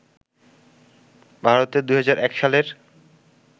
ভারতের ২০০১ সালের